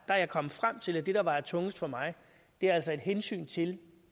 jeg er kommet frem til at det der vejer tungest for mig altså er hensynet til